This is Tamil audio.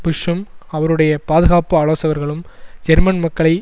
புஷ்ஷும் அவருடைய பாதுகாப்பு ஆலோசகர்களும் ஜெர்மன் மக்களை